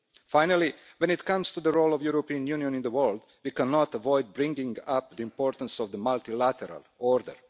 Finally, when it comes to the role of the European Union in the world, we cannot avoid bringing up the importance of the multilateral order.